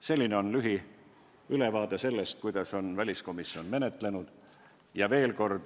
See oli lühiülevaade sellest, kuidas väliskomisjon seda teemat menetles.